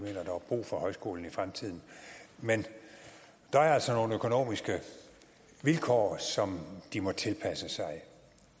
brug for højskolen i fremtiden men der er altså nogle økonomiske vilkår som de må tilpasse sig